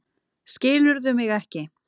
Skilurðu mig ekki?